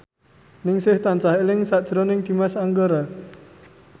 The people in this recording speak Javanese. Ningsih tansah eling sakjroning Dimas Anggara